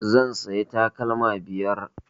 Zan siya takalma biyar